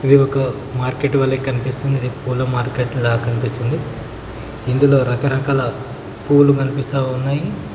ఇది ఒక మార్కెట్ వలె కనిపిస్తుంది పూల మార్కెట్ లాగా కనిపిస్తుంది ఇందులో రకరకాల పూలు కనిపిస్తా ఉన్నాయి.